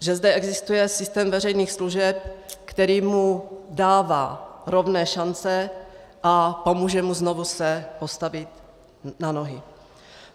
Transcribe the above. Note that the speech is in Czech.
Že zde existuje systém veřejných služeb, který mu dává rovné šance a pomůže mu znovu se postavit na nohy.